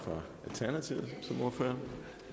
talerstolen her